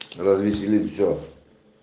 развеселит что